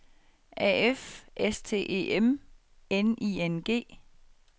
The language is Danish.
A F S T E M N I N G